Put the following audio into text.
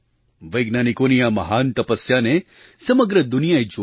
વૈજ્ઞાનિકોની આ મહાન તપસ્યાને સમગ્ર દુનિયાએ જોઈ